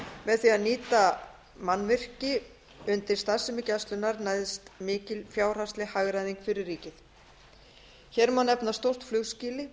með því að nýta mannvirki undir starfsemi gæslunnar næðist mikil fjárhagsleg hagræðing fyrir ríkið hér má nefna stórt flugskýli